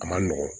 A man nɔgɔn